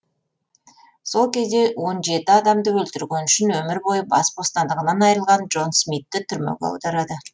сол кезде он жеті адамды өлтірген үшін өмір бойы бас бостандығынан айырылған джон смитті түрмеге отырады